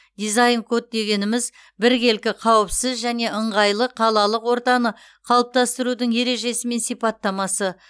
дизайн код дегеніміз біркелкі қауіпсіз және ыңғайлы қалалық ортаны қалыптастырудың ережесі мен сипаттамасы